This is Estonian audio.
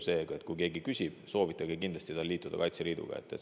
Seega, kui keegi küsib, soovitage tal kindlasti liituda Kaitseliiduga.